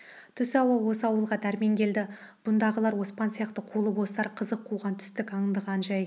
түс ауа осы ауылға дәрмен келді бұндағылар оспан сияқты қолы бостар қызық қуған түстік аңдыған жай